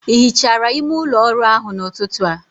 Ị hichara ime ụlọ ọrụ ahụ n'ụtụtụ a?